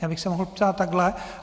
Já bych se mohl ptát takto.